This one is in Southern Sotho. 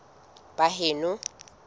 baheno